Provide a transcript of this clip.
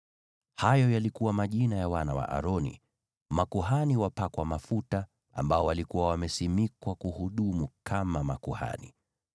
Hayo yalikuwa majina ya wana wa Aroni, makuhani wapakwa mafuta, waliokuwa wamesimikwa kuhudumu kama makuhani.